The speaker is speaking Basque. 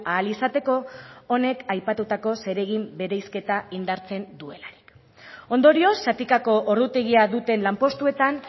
ahal izateko honek aipatutako zeregin bereizketa indartzen duela ondorioz zatikako ordutegia duten lanpostuetan